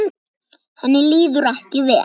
Henni líður ekki vel.